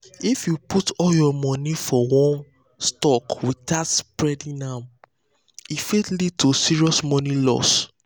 if you um put all your money for one stock without spreading am e fit lead to serious money loss.